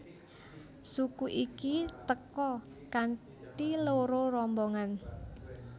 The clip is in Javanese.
Suku iki teka kanthi loro rombongan